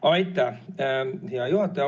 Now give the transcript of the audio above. Aitäh, hea juhataja!